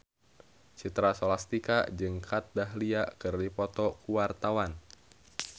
Citra Scholastika jeung Kat Dahlia keur dipoto ku wartawan